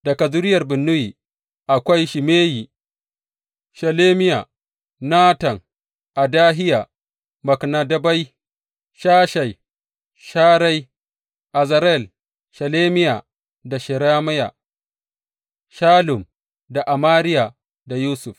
Daga zuriyar Binnuyi, akwai Shimeyi, Shelemiya, Natan, Adahiya, Maknadebai, Shashai, Sharai, Azarel, Shelemiya, da Shemariya, Shallum da Amariya da Yusuf.